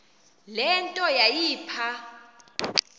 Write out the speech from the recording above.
le nto yayipha